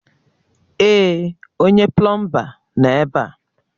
Èè, onye plọọmba nọ ebe a